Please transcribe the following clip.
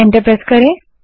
enter दबायें